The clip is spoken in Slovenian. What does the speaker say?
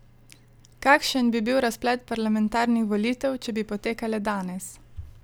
Kakšen bi bil razplet parlamentarnih volitev, če bi potekale danes?